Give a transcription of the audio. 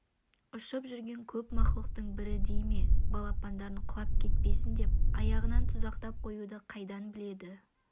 ұшып жүрген көп мақұлықтың бірі дей ме балапандарын құлап кетпесін деп аяғынан тұзақтап қоюды қайдан біледі